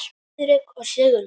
Friðrik og Sigrún.